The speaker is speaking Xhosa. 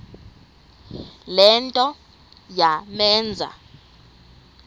le nto yamenza